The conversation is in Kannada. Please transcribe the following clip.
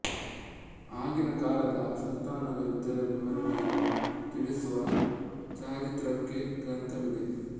ಆಗಿನ ಕಾಲದ ಸುಲ್ತಾನರ ಯುದ್ಧದ ವಿವರಣೆಯನ್ನು ತಿಳಿಸುವ ಚಾರಿತ್ರಿಕ ಗ್ರಂಥವಿದು